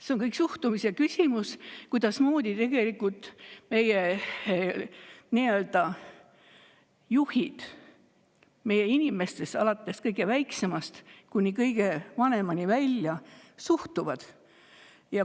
See on suhtumise küsimus, kuidas meie juhid meie inimestesse alates kõige väiksemast kuni kõige vanemani välja suhtuvad.